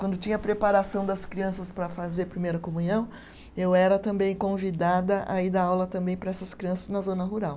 Quando tinha a preparação das crianças para fazer primeira comunhão, eu era também convidada a ir dar aula também para essas crianças na zona rural.